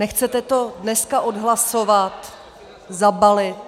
Nechcete to dneska odhlasovat, zabalit?